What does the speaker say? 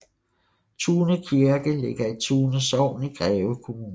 Tune Kirke ligger i Tune Sogn i Greve Kommune